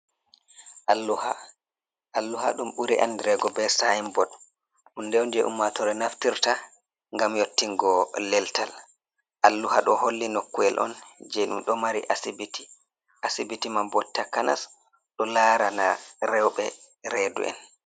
Alluha, alluha ɗum ɓuri andirego be sayin bod, hunde on je ummatore naftirta ngam yottingo leltal. Alluha ɗo holli nokuyel on je ɗum ɗo maari asibiti, asibiti man bo takanas ɗo larana rewɓe redu'en.